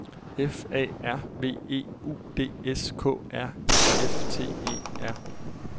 F A R V E U D S K R I F T E R